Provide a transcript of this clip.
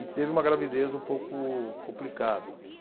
E teve uma gravidez um pouco complicada.